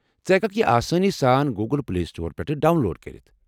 ژٕ ہٮ۪ککھ یہِ آسٲنی سان گوُگٕل پلے سٹورٕ پٮ۪ٹھٕہ ڈاون لوڈ کٔرِتھ۔